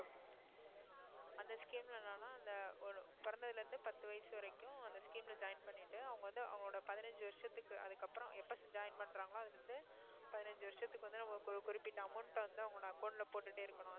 அந்த scheme ல என்னன்னா அந்த ஒரு பிறந்ததுல இருந்தே பத்து வயசு வரைக்கும் அந்த scheme ல join பண்ணிட்டு அவங்க வந்து அவங்களோட பதினஞ்சு வருஷத்துக்கு அதுக்கப்புறம் எப்ப join பண்றாங்களோ அதுல இருந்து பதினஞ்சு வருஷத்துக்கு வந்து நம்ம குறு~ குறிப்பிட்ட amount அ வந்து அவங்க account ல போட்டுட்டே இருக்கணும்